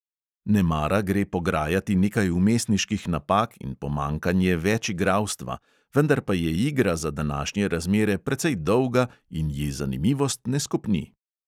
Nemara gre pograjati nekaj vmesniških napak in pomanjkanje večigralstva, vendar pa je igra za današnje razmere precej dolga in ji zanimivost ne skopni.